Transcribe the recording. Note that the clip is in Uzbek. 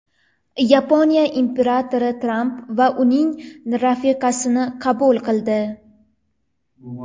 Yaponiya imperatori Tramp va uning rafiqasini qabul qildi.